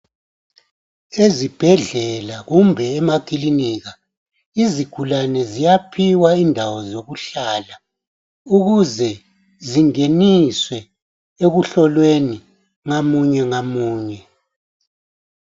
Ezibhedlela kumbe emaklinika izigulane ziyaphiwa indawo zokuhlala ukuze zingeniswe ekuhlolweni ngamunyengamunye